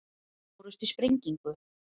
Sjö fórust í sprengingu